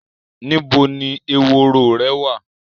Níbo ni eworo rẹ wà?